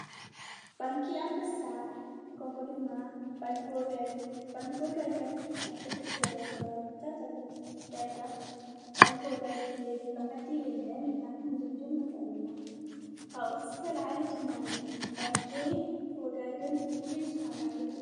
ባንኪ ኣንበሳ ከምኡ ድማ ባንክ ወጋገን ኣብ ብርክት ዝበሉ ከባቢታት ፍፍታት ኣለ ደርጋ ባንክ ወጋገን ዘይብሉ ዓዲ የለን ኢልና ሕንድምድም ንኽእል ኢና ካብኡዝተልዓለ ድማኒ ባንኪ ወጋገን ፍሉይ ዝዃነ ኣገልግሎት።